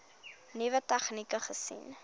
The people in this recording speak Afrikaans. nuwe tegnieke gesien